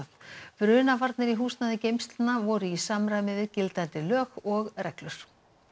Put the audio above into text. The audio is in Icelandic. brunavarnir í húsnæði geymslna voru í samræmi við gildandi lög og reglur